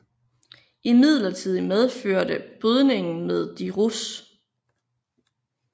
Imidlertid medførte Brydningen med de russ